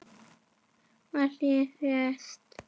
Málið leyst.